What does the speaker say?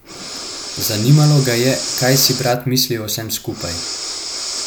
Zanimalo ga je, kaj si brat misli o vsem skupaj.